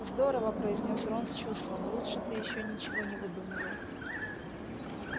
здорово произнёс рон с чувством лучше ты ещё ничего не выдумывал